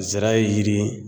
Zira yiri